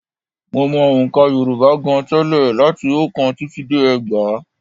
Mo mọ ọ̀ǹkà Yorùbá gan-an tẹ́lẹ̀ láti oókán títí dé ẹgbàá